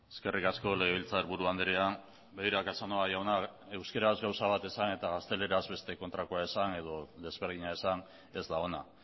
eskerrik asko legebiltzarburu andrea begira casanova jauna euskaraz gauza bat esan eta gazteleraz beste kontrakoa esan edo desberdina esan ez da ona